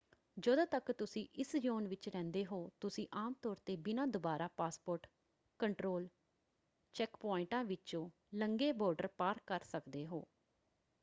ਜਦੋਂ ਤੱਕ ਤੁਸੀਂ ਇਸ ਜ਼ੋਨ ਵਿੱਚ ਰਹਿੰਦੇ ਹੋ ਤੁਸੀਂ ਆਮ ਤੌਰ 'ਤੇ ਬਿਨਾਂ ਦੁਬਾਰਾ ਪਾਸਪੋਰਟ ਕੰਟਰੋਲ ਚੈੱਕਪੁਆਇੰਟਾਂ ਵਿਚੋਂ ਲੰਘੇ ਬਾਰਡਰ ਪਾਰ ਕਰ ਸਕਦੇ ਹੋ।